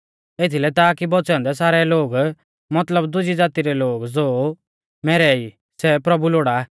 एथीलै ताकी बौच़ै औन्दै सारै लोग मतलब दुजी ज़ाती रै लोग ज़ो मैरै ई सै प्रभु लोड़ा